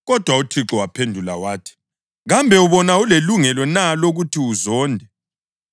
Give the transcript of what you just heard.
Kodwa uThixo waphendula wathi, “Kambe ubona ulelungelo na lokuthi uzonde?”